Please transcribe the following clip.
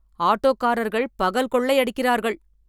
ஆட்டோகாரர்கள் பகல் கொள்ளை அடிக்கிறார்கள்.